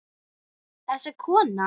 Þessi kona!